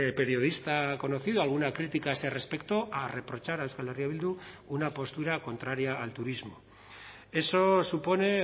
periodista conocido alguna crítica a ese respecto a reprochar a euskal herria bildu una postura contraria al turismo eso supone